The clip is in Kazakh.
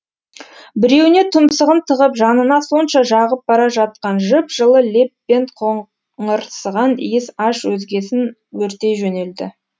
біреуіне тұмсығын тығып жанына сонша жағып бара жатқан жып жылы леп пен иіс аш өзегін өртей жөнелді